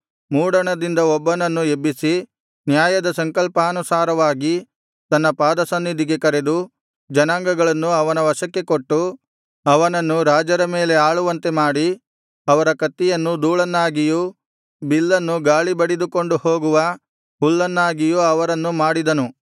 ಮೂಡಣದಿಂದ ಒಬ್ಬನನ್ನು ಎಬ್ಬಿಸಿ ನ್ಯಾಯದ ಸಂಕಲ್ಪಾನುಸಾರವಾಗಿ ತನ್ನ ಪಾದಸನ್ನಿಧಿಗೆ ಕರೆದು ಜನಾಂಗಗಳನ್ನು ಅವನ ವಶಕ್ಕೆ ಕೊಟ್ಟು ಅವನನ್ನು ರಾಜರ ಮೇಲೆ ಆಳುವಂತೆ ಮಾಡಿ ಅವರ ಕತ್ತಿಯನ್ನು ಧೂಳನ್ನಾಗಿಯೂ ಬಿಲ್ಲನ್ನು ಗಾಳಿ ಬಡಿದುಕೊಂಡು ಹೋಗುವ ಹುಲ್ಲನ್ನಾಗಿಯೂ ಅವರನ್ನು ಮಾಡಿದನು